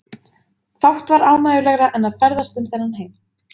Fátt var ánægjulegra en að ferðast um þennan heim.